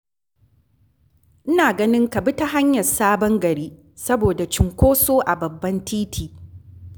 Ina ganin ka bi ta hanyar Sabon Gari, saboda cunkoso a babban titi.